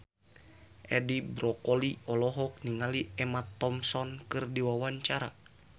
Edi Brokoli olohok ningali Emma Thompson keur diwawancara